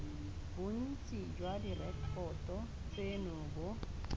bontsi jwa direkoto tseno bo